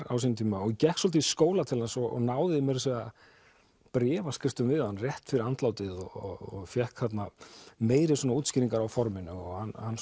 á sínum tíma og gekk svolítið í skóla til hans og náði meira að segja bréfaskriftum við hann rétt fyrir andlátið og fékk þarna meiri svona útskýringar á forminu og